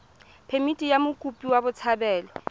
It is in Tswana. phemithi ya mokopi wa botshabelo